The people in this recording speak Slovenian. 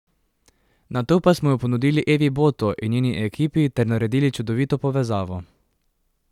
Nato pa smo jo ponudili Evi Boto in njeni ekipi ter naredili čudovito povezavo.